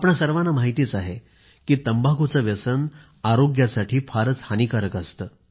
आपणा सर्वांना माहिती आहे की तंबाखूचे व्यसन आरोग्यासाठी फारच हानिकारक असते